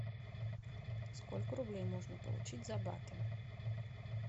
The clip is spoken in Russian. сколько рублей можно получить за баты